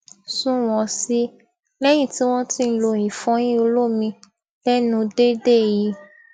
sunwòn sí i léyìn tí wón ti ń lo ìfọyín olómi lénu déédéé yìí